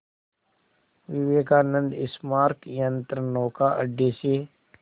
विवेकानंद स्मारक यंत्रनौका अड्डे से